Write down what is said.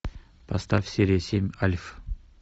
поставь серия семь альф